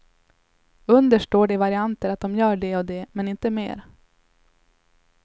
Under står det i varianter att de gör det och det, men inte mer.